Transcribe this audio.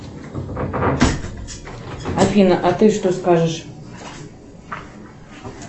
афина а ты что скажешь